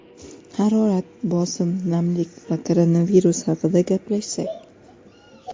Harorat, bosim, namlik va koronavirus haqida gaplashsak.